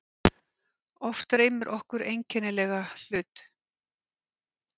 Oft dreymir okkur einkennilega hlut.